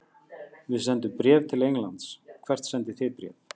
Við sendum bréf til Englands. Hvert sendið þið bréf?